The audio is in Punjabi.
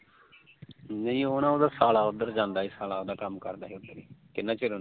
ਨਈ ਉਹ ਨਾ ਉਹਦਾ ਸਾਲਾ ਉਧਰ ਜਾਂਦਾ ਸੀ ਕਿੰਨਾ ਚਿਰ ਹੋ ਗਿਆ